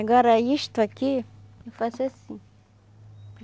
Agora, isto aqui, eu faço assim.